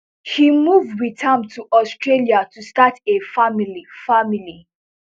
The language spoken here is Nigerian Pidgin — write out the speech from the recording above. she move wit am to australia to start a family family